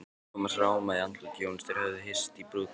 Thomas rámaði í andlit Jóns, þeir höfðu hist í brúðkaupinu.